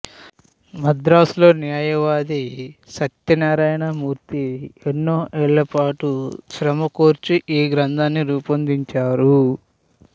మద్రాసులో న్యాయవాది సత్యనారాయణమూర్తి ఎన్నో ఏళ్ళపాటు శ్రమకోర్చి ఈ గ్రంథాన్ని రూపొందించారు